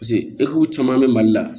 eki caman bɛ mali la